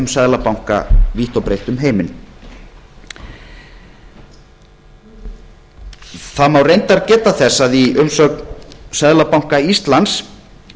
seðlabanka vítt og breytt um heiminn það má reyndar geta þess að í umsögn seðlabanka íslands